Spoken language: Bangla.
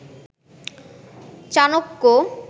চাণক্য